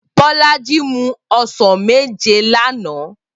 Bolaji mú òsán méjé làná